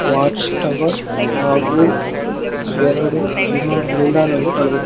watchtower ಹಾಗು ಎರಡು ವಿಮಾನ ನಿಲ್ದಾಣವನ್ನ--